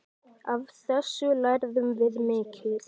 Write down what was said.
Af þessu lærðum við mikið.